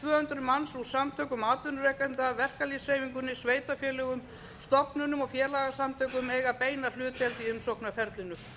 hundruð manns úr samtökum atvinnurekenda verkalýðshreyfingunni sveitarfélögum stofnunum og félagasamtökum eiga beina hlutdeild í umsóknarferlinu